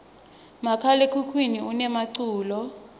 makhala ekhukhwini unemaculo